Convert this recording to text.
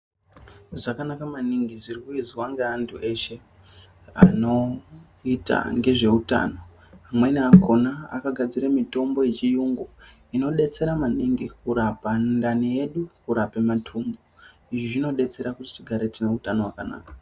Zvakanaka maningi zvikuizwa ngevandu veshe anoita ngezveutano amweni akona akagadzira mutombo yechiyungu inodetsera mangu kurape mundani medu kurape matumbu izvi zvinodetsera kuti tigare tineutano wakanaka.